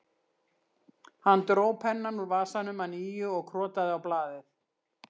Hann dró pennann úr vasanum að nýju og krotaði á blaðið